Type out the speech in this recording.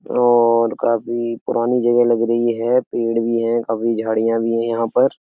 और काफी पुरानी जगह लग रही है। पेड़ भी हैं काफी झाड़ियां भी हैं यहाँ पर।